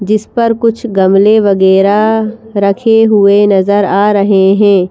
जिस पर कुछ गमले वगैरह रखे हुए नजर आ रहे हैं।